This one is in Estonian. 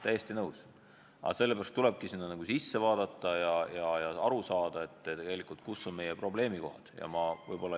Täiesti nõus, aga sellepärast tulebki valdkonda sisse vaadata ja aru saada, kus on meie probleemikohad.